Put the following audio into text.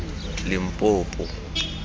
limpopo